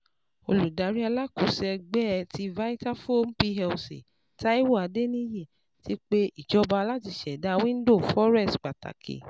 Oludari Alakoso Ẹgbẹ ti Vitafoam Plc, Taiwo Adeniyi, ti pe ijọba lati ṣẹda window Forex pataki